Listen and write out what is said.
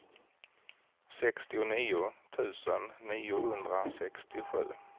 sextionio tusen niohundrasextiosju